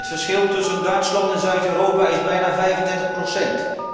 Het verschil tussen Duitsland en Zuid Europa is bijna 35 procent.